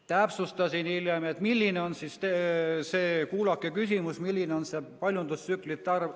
Täpsustasin hiljem, et kuulake küsimust: milline on see paljundustsüklite arv.